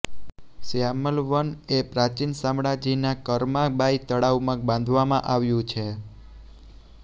શ્યામલ વન એ પ્રાચીન શામળાજીના કરમાં બાઈ તળાવમાં બાંધવામાં આવ્યું છે